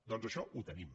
doncs això ho tenim